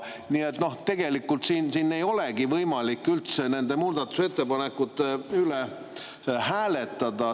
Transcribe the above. Nii et tegelikult siin ei olegi võimalik üldse nende muudatusettepanekute üle hääletada.